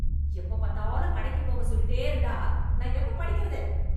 எப்பப் பாத்தாலும் கடைக்கு போக சொல்லிட்டே இருந்தா நான் எப்பப் படிக்கிறது